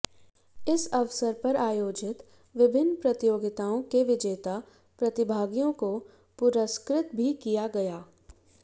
इस अवसर पर आयोजित विभिन्न प्रतियोगिताओं के विजेता प्रतिभागियों को पुरस्कृत भी किया गया